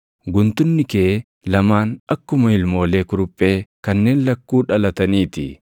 Guntunni kee lamaan akkuma ilmoolee kuruphee kanneen lakkuu dhalatanii ti.